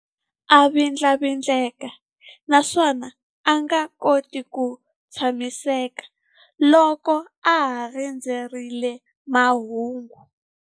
A vindlavindleka naswona a nga koti ku tshamiseka loko a ha rindzerile mahungu.